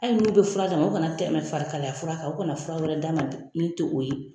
Hali n'u bɛ fura d'a ma u kana tɛmɛ fari kalaya fura kan o kana fura wɛrɛ d'a ma min to o ye.